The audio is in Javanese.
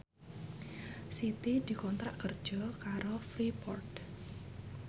Siti dikontrak kerja karo Freeport